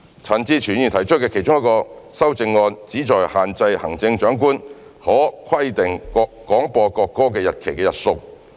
陳志全議員提出的其中一項修正案旨在限制行政長官可規定廣播國歌的日期的日數。